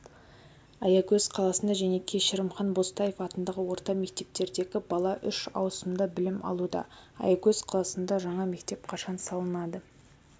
аягөз қаласында және кешірімхан бозтаев атындағы орта мектептердегі бала үш аусымда білім алуда аягөз қаласында жаңа мектеп қашан салынады